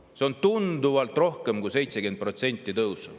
See tõus on tunduvalt rohkem kui 70%.